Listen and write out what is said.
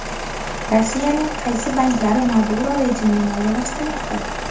Rossiyaning qaysi banklari Maduro rejimini moliyalashtirmoqda?